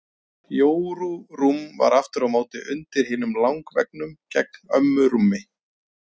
Jóru rúm var aftur á móti undir hinum langveggnum gegnt ömmu rúmi.